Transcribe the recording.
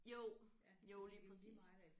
Jo jo lige præcist